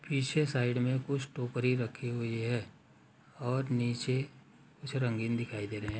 पीछे साइड में कुछ टोकरी रखी हुई है और नीचे कुछ रंगीन दिखाई दे रहें हैं।